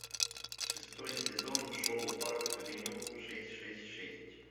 шестой сезон шоу парк авеню шесть шесть шесть